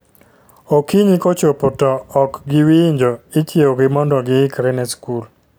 Okinyi kochopo to ok giwinjo, ichiew gi mondo gi ikre ne skul